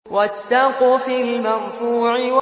وَالسَّقْفِ الْمَرْفُوعِ